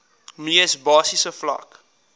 mees basiese vlak